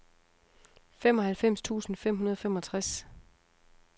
femoghalvfems tusind fem hundrede og femogtres